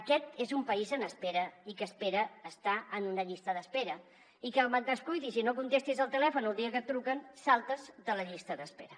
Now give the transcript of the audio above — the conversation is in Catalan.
aquest és un país en espera i que espera estar en una llista d’espera i com et descuidis i no contestis al telèfon el dia que et truquen saltes de la llista d’espera